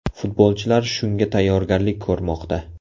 Futbolchilar shunga tayyorgarlik ko‘rmoqda.